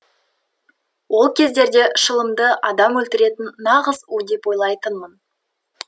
ол кездерде шылымды адам өлтіретін нағыз у деп ойлайтынмын